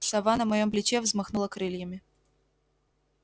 сова на моем плече взмахнула крыльями